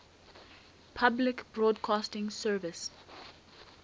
public broadcasting service